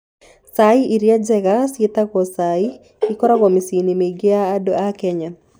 Chai ĩrĩa njega mũno ĩĩtagwo chai, ĩkoragwo mĩciĩ-inĩ mĩingĩ ya andũ a Kenya.